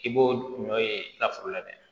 I b'o ɲɔ ye i ka foro la dɛ